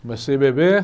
Comecei a beber.